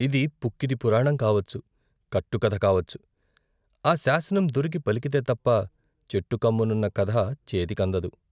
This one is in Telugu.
ఇది పుక్కిడి పురాణం కావచ్చు, కట్టు కథ కావచ్చు, ఆ శాసనం దొరికి పలికితే తప్ప చెట్టు కొమ్మనున్న కథ చేతికందదు.